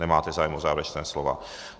Nemají zájem o závěrečná slova.